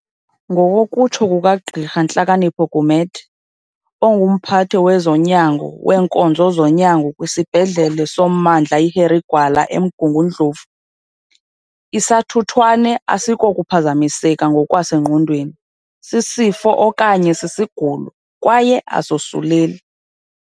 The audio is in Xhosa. Ngokokutsho kukaGqirha Nhlakanipho Gumede, onguMphathi wezoNyango weeNkonzo zoNyango kwisibhedlele soMmandla i-Harry Gwala eMgungu ndlovu, isathuthwane akusikokuphazamiseka ngokwasengqondweni, sisifo okanye sisigulo, kwaye asosuleli.